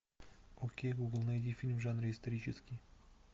окей гугл найди фильм в жанре исторический